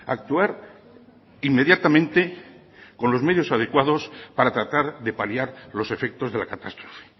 actuar inmediatamente con los medios adecuados para tratar de paliar los efectos de la catástrofe